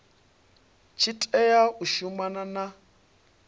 tshi tea u shumana na